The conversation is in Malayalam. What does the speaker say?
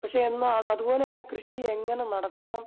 പക്ഷേ എന്നാ അതുപോലെതന്നെ കൃഷി എങ്ങനെ നടത്തണം